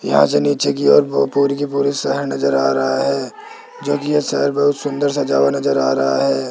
यहां से नीचे की ओर पूरी की पूरी शहर नजर आ रहा है जोकि ये शहर बहुत सुंदर सजा हुआ नजर आ रहा है।